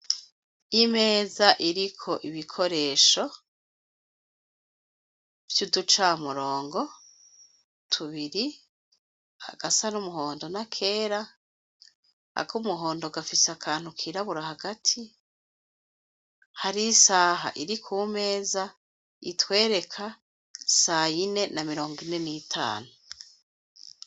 Imeza iriko ibikoresho, vy'uducamurongo tubiri agasa n'umuhondo na kera, ako umuhondo gafise akantu kirabura hagati, hari isaha iri ku meza itwereka sayine na mirongo ine n’itanu.